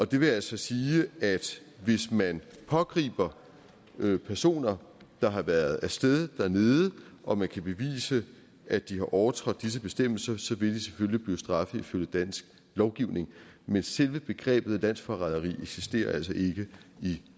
det vil altså sige at hvis man pågriber personer der har været af sted dernede og man kan bevise at de har overtrådt disse bestemmelser så vil de selvfølgelig blive straffet ifølge dansk lovgivning men selve begrebet landsforræderi eksisterer altså ikke i